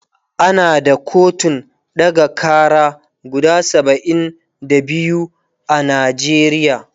ana da kotun ɗaga Kara guda saba'in da biyu a Najeriya